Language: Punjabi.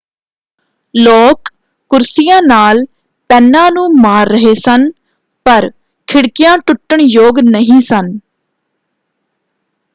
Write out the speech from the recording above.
ਲੋਕ ਕੁਰਸੀਆਂ ਨਾਲ ਪੈਨਾਂ ਨੂੰ ਮਾਰ ਰਹੇ ਸਨ ਪਰ ਖਿੜਕੀਆਂ ਟੁੱਟਣ-ਯੋਗ ਨਹੀਂ ਸਨ।